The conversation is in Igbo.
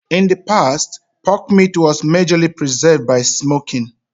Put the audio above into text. In the past, pork meat was majorly preserved by smoking